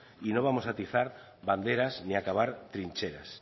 y no vamos a atizar banderas ni a cavar trincheras